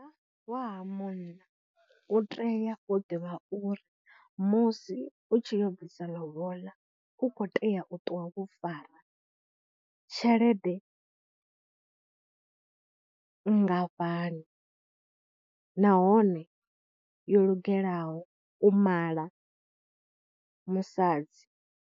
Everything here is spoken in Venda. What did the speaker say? Wa ha munna u tea u ḓivha uri musi u tshi yo bvisa lobola u khou tea u ṱuwa vho fara tshelede nngafhani nahone yo lugelaho u mala musadzi.